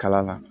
Kalan na